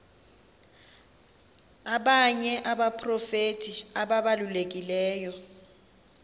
abanye abaprofeti ababalulekileyo